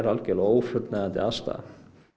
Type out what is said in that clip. algjörlega ófullnægjandi aðstaða